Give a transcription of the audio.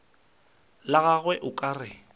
la gagwe o ka re